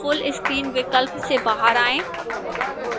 full screen विकल्प से बाहर आएं